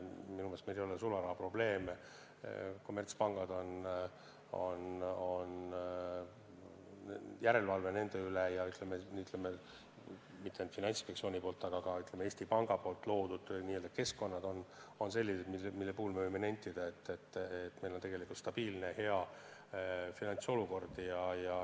Minu meelest meil ei ole sularahaprobleeme, on järelevalve kommertspankade üle, ja mitte ainult Finantsinspektsiooni, vaid ka Eesti Panga loodud keskkonnad on sellised, mille puhul me võime nentida, et meil on tegelikult stabiilne, hea finantsolukord.